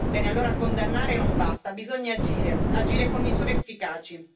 Bene, allora, condannare non basta, bisogna agire, agire con misure efficaci.